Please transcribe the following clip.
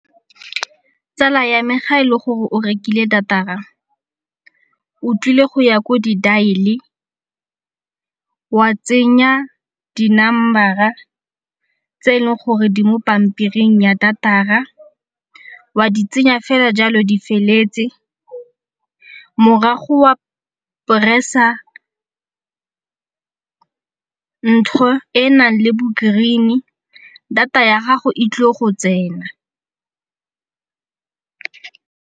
Tsala ya me ga e le gore o rekile data-ra o tlile go ya ko di dial-e wa tsenya di-number-a tse e leng gore di mo pampiring ya data-ra, wa di tsenya fela jalo di feletse morago wa press-a ntho e nang le bo-green data ya gago e tlo go tsena.